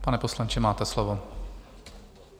Pane poslanče, máte slovo.